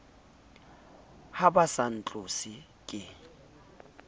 ha ba sa ntlose ke